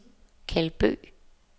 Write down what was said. Keld Bøgh